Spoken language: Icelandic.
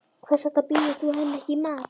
Hvers vegna býður þú henni ekki í mat.